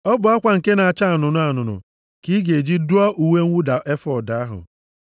“Ọ bụ akwa nke na-acha anụnụ anụnụ, ka ị ga-eji dụọ uwe mwụda efọọd ahụ.